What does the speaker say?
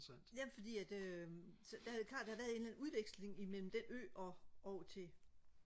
ja fordi at øh så er det klart der har været en eller anden udveksling imellem den der ø og over til